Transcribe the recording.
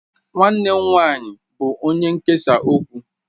Nwannem nwanyi bu onye nkesa okwu.